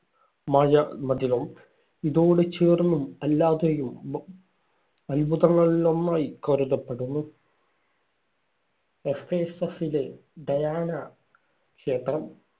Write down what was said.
മായ മതിലും ഇതോടു ചേർന്നും അല്ലാതെയും അത്ഭുതങ്ങളിലൊന്നായി കരുതപ്പെടുന്നു. എഫേസസ്സിലെ ഡയാന ക്ഷേത്രം.